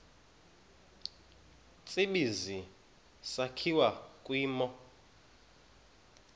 tsibizi sakhiwa kwimo